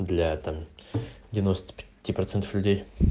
для там девяносто пяти процентов людей